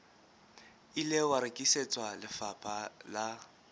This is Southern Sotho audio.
ile wa rekisetswa lefapha la